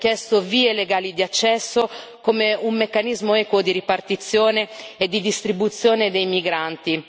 Abbiamo chiesto vie legali di accesso, come un meccanismo equo di ripartizione e di distribuzione dei migranti.